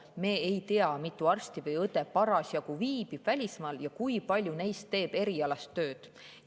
Me ei tea, kui mitu arsti või õde viibib parasjagu välismaal ja kui paljud neist teevad erialast tööd.